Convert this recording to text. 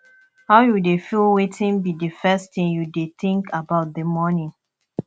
how you dey feel wetin be di first thing you dey think about di morning